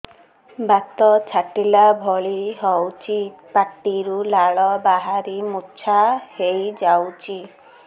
ବାତ ଛାଟିଲା ଭଳି ହଉଚି ପାଟିରୁ ଲାଳ ବାହାରି ମୁର୍ଚ୍ଛା ହେଇଯାଉଛି